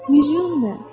Milyon nə?